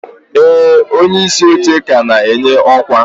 ee, onyeisi oche ka na-enye ọkwa.